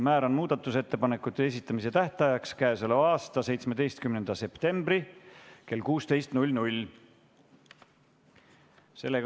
Määran muudatusettepanekute esitamise tähtajaks k.a 17. septembri kell 16.